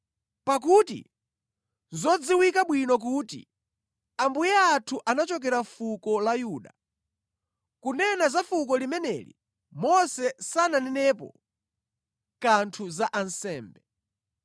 Pakuti nʼzodziwika bwino kuti Ambuye athu anachokera fuko la Yuda. Kunena za fuko limeneli, Mose sananenepo kanthu za ansembe.